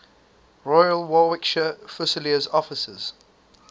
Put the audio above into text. royal warwickshire fusiliers officers